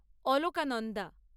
Alaknanda